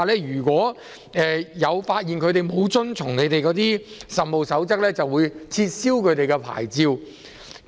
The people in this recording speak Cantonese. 如果職業介紹所被發現沒有遵從局方的《實務守則》，會被撤銷牌照。